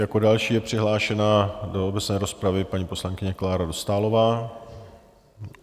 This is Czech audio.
Jako další je přihlášená do obecné rozpravy paní poslankyně Klára Dostálová.